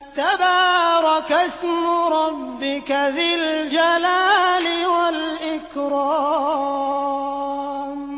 تَبَارَكَ اسْمُ رَبِّكَ ذِي الْجَلَالِ وَالْإِكْرَامِ